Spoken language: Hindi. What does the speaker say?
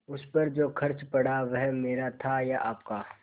उस पर जो खर्च पड़ा वह मेरा था या आपका